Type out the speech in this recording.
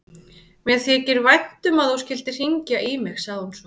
Mér þykir vænt um að þú skyldir hringja í mig, sagði hún svo.